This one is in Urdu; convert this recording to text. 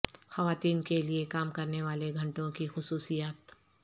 خواتین کے لئے کام کرنے والے گھنٹوں کی خصوصیات